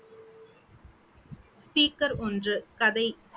speaker ஒன்று கதை